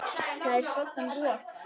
Það er svoddan rok.